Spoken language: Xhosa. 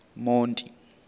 monti